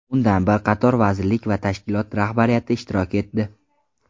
Undan bir qator vazirlik va tashkilot rahbariyati ishtirok etdi.